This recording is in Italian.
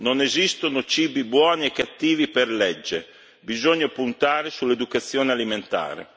Non esistono cibi buoni e cattivi per legge bisogna puntare sull'educazione alimentare.